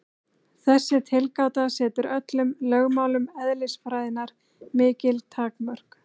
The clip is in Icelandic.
Þessi tilgáta setur öllum lögmálum eðlisfræðinnar mikil takmörk.